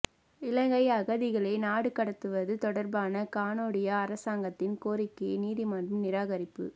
இலங்கை அகதிகளை நாடு கடத்துவது தொடர்பான கனேடிய அரசாங்கத்தின் கோரிக்கையை நீதிமன்றம் நிராகரிப்பு